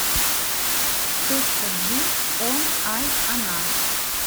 точка джи он ай она